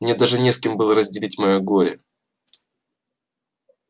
мне даже не с кем было разделить своё горе